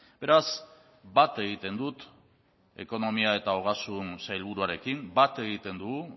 beraz bat egiten dut ekonomia eta ogasun sailburuarekin bat egiten dugu